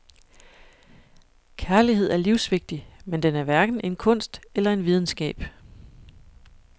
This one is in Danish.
Kærlighed er livsvigtig, men den er hverken en kunst eller en videnskab.